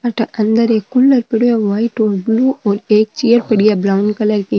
अठ अंदर एक कूलर पड़े है व्हाइट और ब्ल्यू और एक चेयर पड़ी है ब्राऊन कलर की।